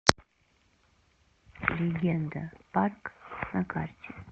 легенда парк на карте